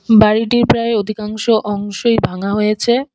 বাড়িটির প্রায় অধিকাংশ অংশই ভাঙা হয়েছে।